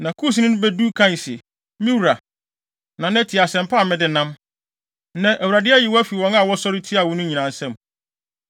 Na Kusni no bedu kae se, “Me wura, Nana, tie asɛm pa a mede nam! Nnɛ, Awurade ayi wo afi wɔn a wɔsɔre tiaa wo no nyinaa nsam.”